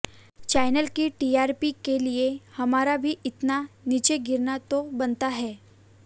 channel की TRP के लिए हमारा भी इतना नीचे गिरना तो बनता है